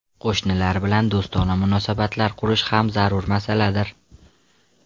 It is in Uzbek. Qo‘shnilar bilan do‘stona munosabatlar qurish ham zarur masaladir.